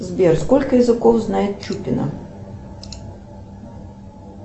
сбер сколько языков знает чупина